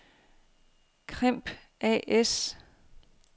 Crimp A/S